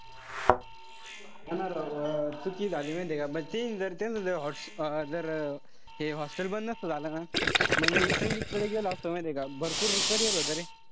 हा ना राव, चुकी झाली माहित्ये का. म तीन जर त्यांचं जर अं जर हे जर hostel बंद नसत झालं ना. म्हणजे मी संगीतकडे गेलो असतो माहितीये का. भरपूर carrier होत रे.